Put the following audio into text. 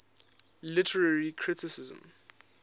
literary criticism